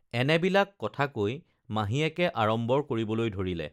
এনেবিলাক কথা কৈ মাহীয়েকে আড়ম্বৰ কৰিবলৈ ধৰিলে